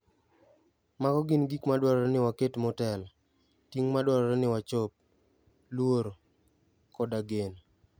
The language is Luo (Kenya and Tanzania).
Mago gin gik madwarore ni waket motelo, ting' madwarore ni wachop, luoro, koda geno.